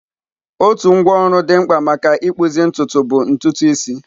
Otu ngwá ọrụ dị mkpa maka ịkpụzi ntutu bụ ntutu isi.